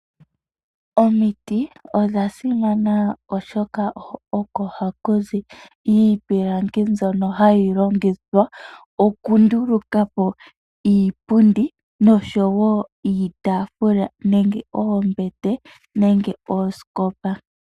Omiti odha simana oshoka oko hakuzi iipilangi mbyono hayi longithwa oku ndulukapo iipundi, nosho wo iitafula, nenge oombete, nenge ooskopa.